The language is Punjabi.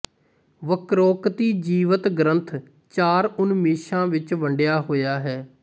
ਵਕ੍ਰੋਕਤੀਜੀਵਿਤ ਗ੍ਰੰਥ ਚਾਰ ਉਨਮੇਸ਼ਾ ਵਿੱਚ ਵੰਡਿਆ ਹੋਇਆ ਹੈ